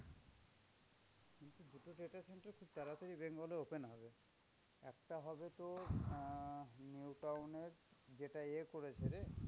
তাড়াতাড়ি bengal এ open হবে। একটা হবে তোর আহ নিউ টাউন এর যেটা এ করেছে রে